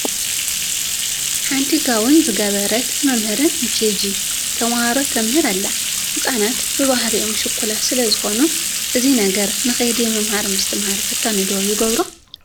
ሓንቲ ጋቦን ዝገበረት መምህርን ንኬጂ ተመሃሮ ተምህር ኣላ፡፡ ህፃናት ብባህርኦም ሽኩላት ስለዝኾኑ እዚ ነገር ንከይዲ ምምሃር ምስትምሃር ፈታኒ ዶ ይገብሮ?